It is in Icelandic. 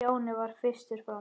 Stjáni varð fyrstur fram.